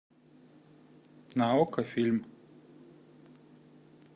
на окко фильм